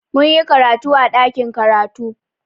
Mun yi karatu a ɗakin karatu.